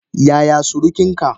Yaya surukin ka?